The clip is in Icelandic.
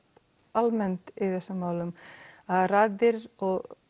almennt í þessum málum að raddir